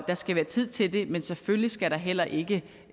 skal være tid til det men selvfølgelig skal der heller ikke